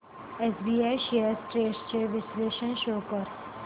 SBI shares trends चे विश्लेषण show कर